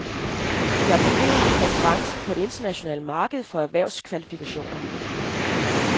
Vi har problemer med konkurrencen på det internationale marked for erhvervskvalifikationer.